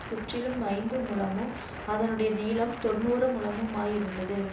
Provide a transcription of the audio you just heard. சுற்றிலும் ஐந்து முழமும் அதினுடைய நீளம் தொண்ணூறு முழமுமாயிருந்தது